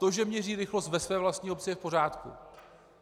To, že měří rychlost ve své vlastní obci, je v pořádku.